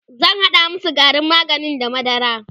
zan hada masu garin maganin da madara